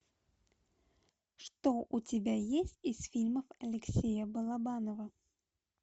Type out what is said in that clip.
что у тебя есть из фильмов алексея балабанова